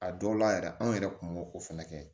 A dɔw la yɛrɛ anw yɛrɛ kun b'o fana kɛ